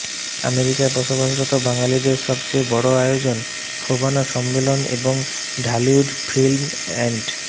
আমেরিকায় বসবাসরত বাঙালিদের সবচেয়ে বড় আয়োজন ফোবানা সম্মেলন এবং ঢালিউড ফিল্ম অ্যান্ড